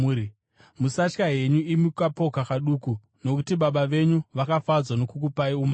“Musatya henyu, imi kaboka kaduku, nokuti Baba venyu vakafadzwa nokukupai umambo.